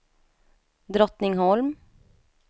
Drottningholm